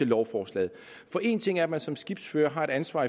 lovforslaget for en ting er at man som skibsfører har et ansvar